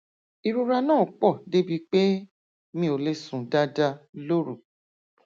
ìrora náà pọ débi pé mi ò lè sùn dáadáa lóru